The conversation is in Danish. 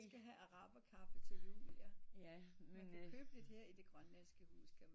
Jeg skal have araber kaffe til jul ja du kan købe det her i det Grønlandske hus